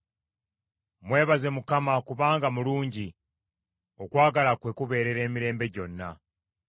Mwebaze Mukama , kubanga mulungi; okwagala kwe kubeerera emirembe gyonna.